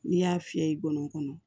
N'i y'a fiyɛ i bɔno kɔnɔ